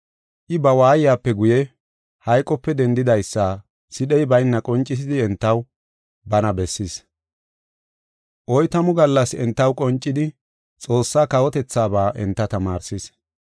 I ba waayiyape guye, hayqope dendidaysa sidhey bayna qoncisidi entaw bana bessis. Oytamu gallas entaw qoncidi Xoossa kawotethaaba enta tamaarsis.